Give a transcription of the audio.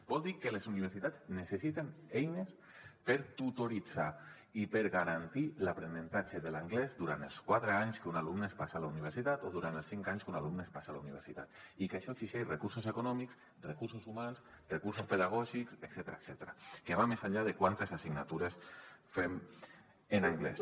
vol dir que les universitats necessiten eines per tutoritzar i per garantir l’aprenentatge de l’anglès durant els quatre anys que un alumne es passa a la universitat o durant els cinc anys que un alumne es passa a la universitat i que això exigeix recursos econòmics recursos humans recursos pedagògics etcètera que va més enllà de quantes assignatures fem en anglès